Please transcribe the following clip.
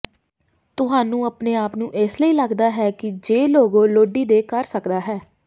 ਤੁਹਾਨੂੰ ਆਪਣੇ ਆਪ ਨੂੰ ਇਸ ਲਈ ਲੱਗਦਾ ਹੈ ਕਿ ਜੇ ਲੋਗੋ ਲੋੜੀਦੇ ਕਰ ਸਕਦਾ ਹੈ